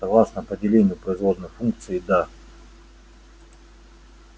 согласно определению производной функции да